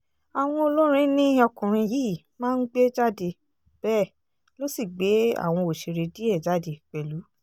àwọn olórin ni ọkùnrin yìí máa ń gbé jáde bẹ́ẹ̀ ló sì gbé àwọn òṣèré díẹ̀ jáde pẹ̀lú